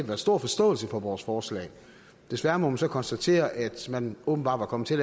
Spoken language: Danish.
været stor forståelse for vores forslag desværre må man så konstatere at man åbenbart er kommet til